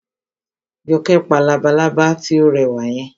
Jọkẹ́ pa labalábá tí ó rẹwà yẹn